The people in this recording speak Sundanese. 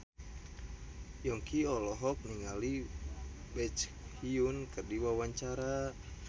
Yongki olohok ningali Baekhyun keur diwawancara